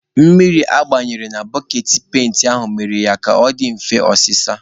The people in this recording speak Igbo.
Mmiri agbaranyere na boketị penti aha mere ya ka ọ dị mfe ọsịsa.